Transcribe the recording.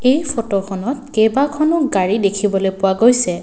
এই ফটোখনত কেইবাখনো গাড়ী দেখিবলৈ পোৱা গৈছে।